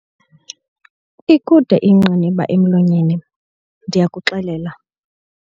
Ikude ingqiniba emlonyeni, ndiyakuxelela.